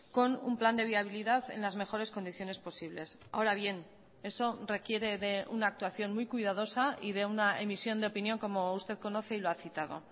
con un plan de viabilidad en las mejores condiciones posibles ahora bien eso requiere de una actuación muy cuidadosa y de una emisión de opinión como usted conoce y lo ha citado